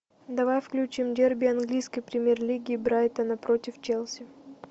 давай включим дерби английской премьер лиги брайтона против челси